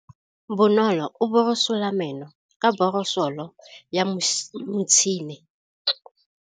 Bonolô o borosola meno ka borosolo ya motšhine.